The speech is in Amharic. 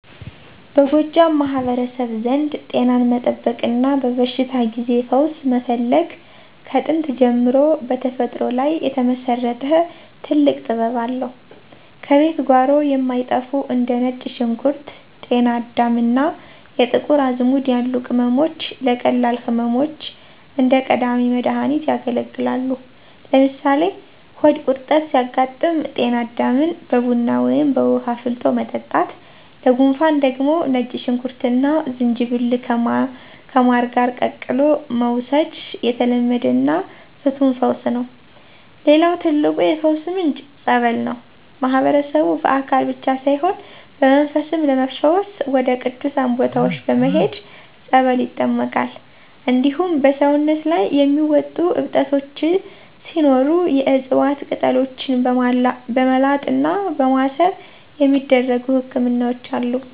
በጎጃም ማህበረሰብ ዘንድ ጤናን መጠበቅና በበሽታ ጊዜ ፈውስ መፈለግ ከጥንት ጀምሮ በተፈጥሮ ላይ የተመሰረተ ጥልቅ ጥበብ አለው። ከቤት ጓሮ የማይጠፉ እንደ ነጭ ሽንኩርት፣ ጤና አዳም እና የጥቁር አዝሙድ ያሉ ቅመሞች ለቀላል ህመሞች እንደ ቀዳሚ መድሃኒት ያገለግላሉ። ለምሳሌ ሆድ ቁርጠት ሲያጋጥም ጤና አዳምን በቡና ወይም በውሃ አፍልቶ መጠጣት፣ ለጉንፋን ደግሞ ነጭ ሽንኩርትና ዝንጅብልን ከማር ጋር ቀላቅሎ መውሰድ የተለመደና ፍቱን ፈውስ ነው። ሌላው ትልቁ የፈውስ ምንጭ "ፀበል" ነው። ማህበረሰቡ በአካል ብቻ ሳይሆን በመንፈስም ለመፈወስ ወደ ቅዱሳን ቦታዎች በመሄድ በፀበል ይጠመቃል። እንዲሁም በሰውነት ላይ የሚወጡ እብጠቶች ሲኖሩ የዕፅዋት ቅጠሎችን በማላጥና በማሰር የሚደረጉ ህክምናዎች አሉ።